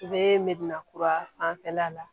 U bɛ mɛna kura fanfɛla la